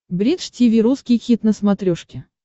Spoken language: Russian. бридж тиви русский хит на смотрешке